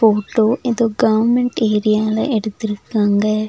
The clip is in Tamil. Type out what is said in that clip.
போட்டோ எதோ கவர்ன்மென்ட் ஏரியால எடுத்திருக்காங்க.